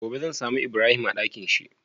Gobe zan samu ibrahim a Ɗakinshi?